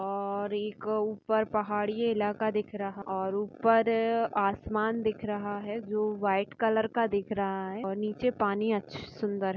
और एक अह ऊपर पहाडी इलाका दिख रहा और ऊपर-- आसमान दिख रहा है जो व्हाइट कलर का दिख रहा है और नीचे पाणी अच्छ सुंदर है।